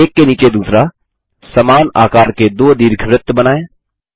एक के नीचे दूसरा समान आकार के 2 दीर्घवृत्त बनाएँ